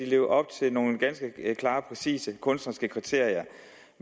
leve op til nogle ganske klare og præcise kunstneriske kriterier